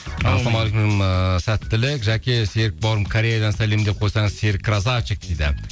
ыыы сәттілік жаке серік бауырым кореядан сәлем деп қойсаңыз серік красавчик дейді